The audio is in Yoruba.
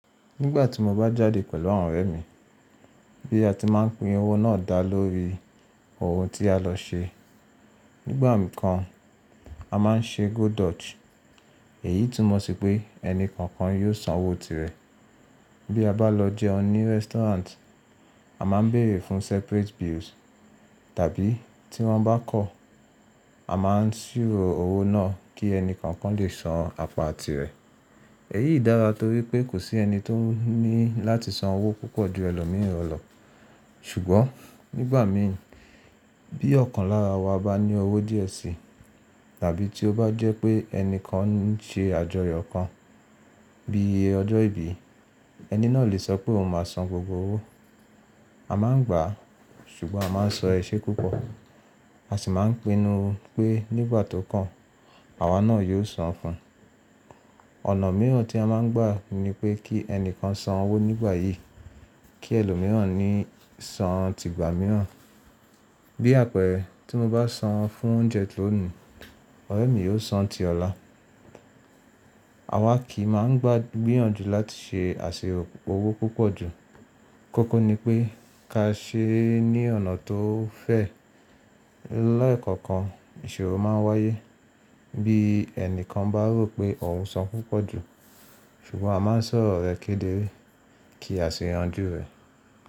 Nígbà tí mo bá jáde pẹ̀lú àwọn ọ̀rẹ́ mi bí a ti máa ń pín owó náà dá lórí ohun tí a lọ ṣe. Nígbà mikan a máa ń ṣe Go Dutch èyí túmọ̀ sí pé ẹni kọ̀ọ̀kan yóò san owó tirẹ̀. Bí a bá lọ jẹun ní restaurant, a máa ń bèrè fún separate bills tàbí tí wọ́n bá kọ̀, a máa ń ṣírò owó náà kí ẹni kọ̀ọ̀kan lè san apa tirẹ̀. Èyí dára torí pé kò sí ẹni tó ní láti san owó púpọ̀ ju ẹlòmíràn lọ. Ṣùgbọ́n nígbà mi bí ọ̀kan lára wa bá ní owó díẹ̀ sí tàbí tí ó bá jẹ́ pé ẹni kan ń ṣe àjọyọ̀ kan bí i ọjọ́ ìbí, ẹni náà lè sọ pé òun máa san gbogbo owó. A máa ń gbà ṣùgbọ́n a máa ń sọ iṣẹ́ púpọ̀ a sì máa ń pinnu pé nígbà tó kàn, àwa náà yóò san fún un. Ọ̀nà mìíràn tí a má ń gbà ni pé kí ẹni kan san owó nígbà yìí kí ẹlòmíràn ni sì san ti ìgbà mìíràn. Bí àpẹẹrẹ tí mo bá san fún oúnjẹ lónìí ọ̀rẹ́ mi yóò san ti ọ̀la. Àwa kì í máa ń gbà gbíyànjú láti ṣe àṣèrọ̀ owó púpọ̀ ju. Kókó ni pé ká ṣe é ní ọ̀nà tó fẹ́. Lẹ́ẹ̀kọ̀kan ìṣòro máa ń wáyé bí ẹni kan bá rò pé òun san púpọ̀ ju ṣùgbọ́n a máa ń sọ̀rọ̀ rẹ̀ kédere kí a sì yanjú rẹ̀.